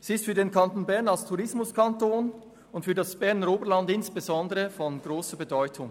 Sie ist für den Kanton Bern als Tourismuskanton und insbesondere für das Berner Oberland von grosser Bedeutung.